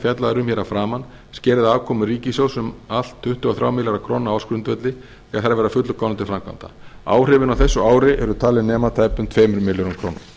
fjallað er um hér að framan skerði afkomu ríkissjóðs um allt að tuttugu og þrjá milljarða króna á ársgrundvelli þegar þær verða að fullu komnar til framkvæmda áhrifin á þessu ári eru talin nema tæpum tveimur milljörðum króna